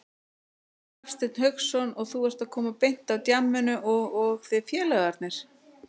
Hafsteinn Hauksson: Og þú ert að koma beint af djamminu og, og þið félagarnir?